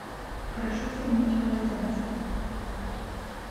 прошу заменить полотенце